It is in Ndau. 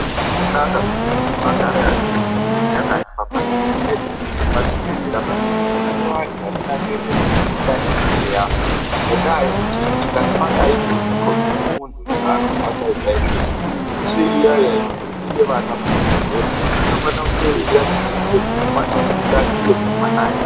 Azvizi kunaka kuti muntu agare aine michini yakafa pazvibhedhleya . Pazvibhedhleya panosisa kutsvakwa vantu vanonasira michini iyane inenge yafa ngendaa yekuti ikafa aizokombodzi muntu zvaanozwa chaizvo chaizvo .Zvikurusei iya iya inoningira vana muzvibhedhlera inofana kunge yairatidza uremu hwamwana ari mundane uye kuti mwanai.